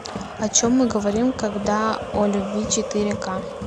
о чем мы говорим когда о любви четыре ка